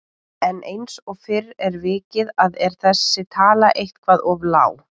En eins og fyrr er vikið að er þessi tala eitthvað of lág.